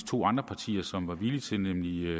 to andre partier som var villige til nemlig